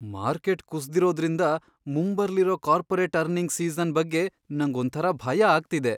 Market ಕುಸ್ದಿರೋದ್ರಿಂದ ಮುಂಬರ್ಲಿರೋ corporate earnings season ಬಗ್ಗೆ ನಂಗ್ ಒಂಥರ ಭಯ ಆಗ್ತಿದೆ.